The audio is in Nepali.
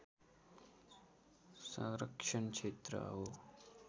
संरक्षण क्षेत्र हो